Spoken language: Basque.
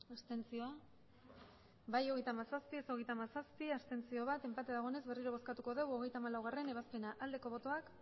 abstenzioak emandako botoak hirurogeita hamabost bai hogeita hamazazpi ez hogeita hamazazpi abstentzioak bat enpate dagoenez berriro bozkatuko dugu hogeita hamalaugarrena ebazpena aldeko botoak